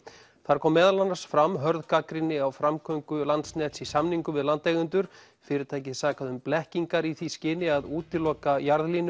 þar kom meðal annars fram hörð gagnrýni á framgöngu Landsnets í samningum við landeigendur fyrirtækið sakað um blekkingar í því skyni að útiloka